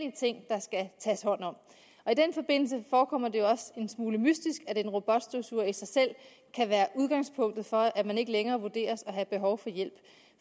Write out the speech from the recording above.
tages hånd om og i den forbindelse forekommer det også en smule mystisk at en robotstøvsuger i sig selv kan være udgangspunktet for at man ikke længere vurderes at have behov for hjælp